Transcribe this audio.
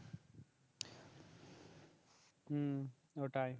হম ওটাই